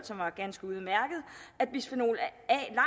som var ganske udmærket at bisfenol